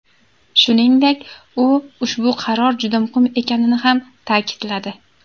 Shuningdek, u ushbu qaror juda muhim ekanini ham ta’kidladi.